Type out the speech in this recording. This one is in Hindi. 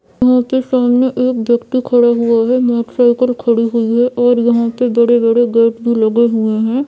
यहाँ पे सामने एक व्यक्ति खड़े हुऐ हैं मोटरसाइकिल खड़ी हुई है और यहाँ पे बड़े-बड़े गेट भी लगे हुऐ हैं।